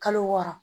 Kalo wɔɔrɔ